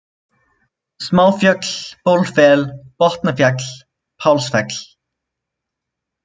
Smáfjöll, Bjólfell, Botnafjall, Pálsfell